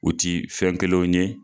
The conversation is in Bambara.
U ti fɛn kelen ye.